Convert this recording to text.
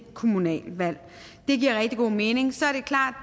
kommunalvalg det giver rigtig god mening så er det klart